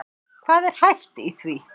Hvað er hæft í því?